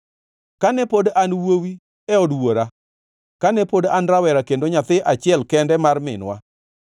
Kane pod an wuowi e od wuora, kane pod an rawera kendo nyathi achiel kende mar minwa,